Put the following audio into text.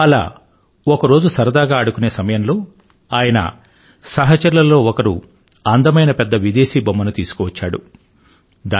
అలా ఒక రోజు సరదాగా ఆడుకునే సమయంలో ఆయన సహచరులలో ఒకరు అందమైన పెద్ద విదేశీ బొమ్మను తీసుకు వచ్చాడు